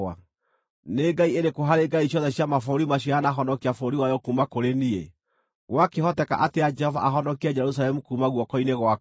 Nĩ ngai ĩrĩkũ harĩ ngai ciothe cia mabũrũri macio yanahonokia bũrũri wayo kuuma kũrĩ niĩ? Gwakĩhoteka atĩa Jehova ahonokie Jerusalemu kuuma guoko-inĩ gwakwa?”